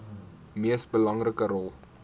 mees belangrike rol